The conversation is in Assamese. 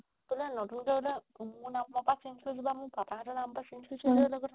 পুৰা নতুনকে বুলে মোৰ নামৰ পৰা change কৰি কিবা পাপা হতৰ নামৰ পৰা change কৰিছো